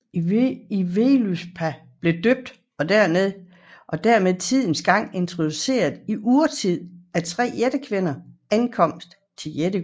I Völuspá blev døden og dermed tidens gang introduceret i urtiden af tre jættekvinders ankomst til Asgård